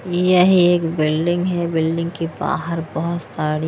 यह एक बिल्डिंग है बिल्डिंग के बाहर बहुत साड़ी --